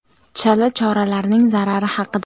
Chala choralarning zarari haqida.